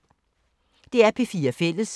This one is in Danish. DR P4 Fælles